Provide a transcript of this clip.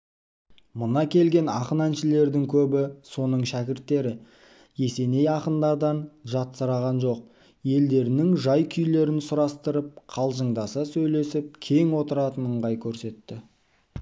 мына келген ақын-әншілердің көбі соның шәкірттері есеней ақындардан жатсыраған жоқ елдерінің жай-күйлерін сұрастырып қалжыңдаса сөйлесіп кең отыратын ыңғай көрсетті